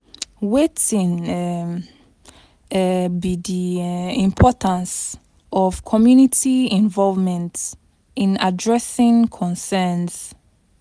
Wetin um um be di um importance of community involvement in addressing concerns?